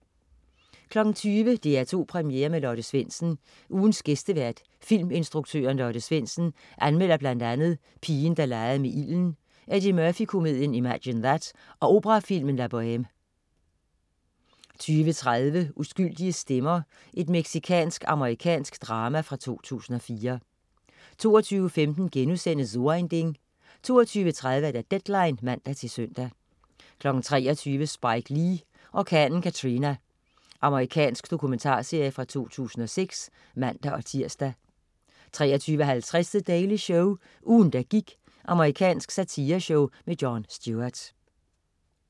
20.00 DR2 Premiere med Lotte Svendsen. Ugens gæstevært, filminstruktøren Lotte Svendsen anmelder bl.a. "Pigen der legede med ilden", Eddie Murphy-komedien "Imagine That" og operafilmen "La Boheme" 20.30 Uskyldige stemmer. Mexicansk-amerikansk drama fra 2004 22.15 So ein Ding* 22.30 Deadline (man-søn) 23.00 Spike Lee: Orkanen Katrina. Amerikansk dokumentarserie fra 2006 (man-tirs) 23.50 The Daily Show. Ugen, der gik. Amerikansk satireshow med Jon Stewart